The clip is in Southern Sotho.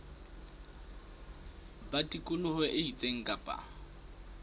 ba tikoloho e itseng kapa